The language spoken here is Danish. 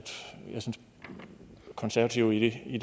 konservative i